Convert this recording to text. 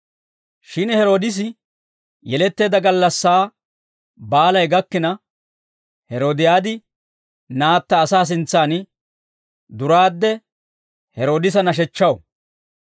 Shin Heroodisi yeletteedda gallassaa baalay gakkina, Heeroodiyaadi naatta asaa sintsaan duraadde Heroodisa nashechchaw.